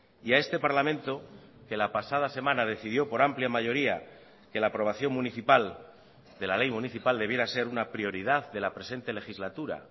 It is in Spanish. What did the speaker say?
y a este parlamento que la pasada semana decidió por amplia mayoría que la aprobación municipal de la ley municipal debiera ser una prioridad de la presente legislatura